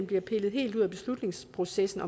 bliver pillet helt ud af beslutningsprocessen